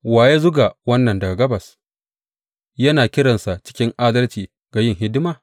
Wa ya zuga wannan daga gabas, yana kiransa cikin adalci ga yin hidima?